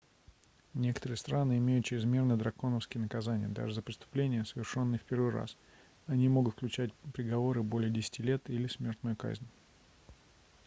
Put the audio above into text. некоторые страны имеют чрезмерно драконовские наказания даже за преступления совершенные в первый раз они могут включать приговоры более 10 лет или смертную казнь